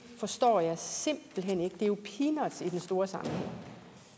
forstår jeg simpelt hen ikke det er jo peanuts i den store sammenhæng